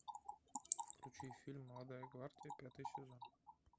включи фильм молодая гвардия пятый сезон